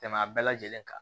Tɛmɛn a bɛɛ lajɛlen kan